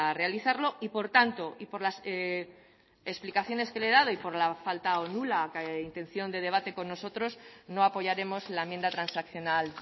realizarlo y por tanto y por las explicaciones que le he dado y por la falta o nula intención de debate con nosotros no apoyaremos la enmienda transaccional